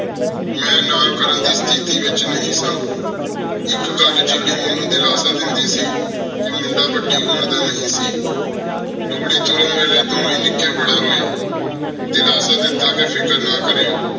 ਮੇਂ ਨਾ ਕਰਨ ਦੀ ਤੇਥੀ ਵਿਚ ਨਹੀ ਸਾਂ ਏਕ ਗਲ ਜੇਰੀ ਮੇਨੂ ਦਿਲਾਸ੍ਸਾ ਦੇਂਦੀ ਸੀ ਕਹ ਮੁੰਡਾ ਵਾਦੀ ਉਮਰ ਦਾ ਨਹੀ ਸੀ ਡੋਲੀ ਤੁਰਨ ਵੇਲੀ ਦੋਵੇਂ ਨਿੱਕੀ ਬਾਰਾ ਰੋਏ ਦਿਲਾਸਾ ਦਿਤਾ ਕ ਫਿਕਰ ਨਾ ਕਾਰ੍ਯੋ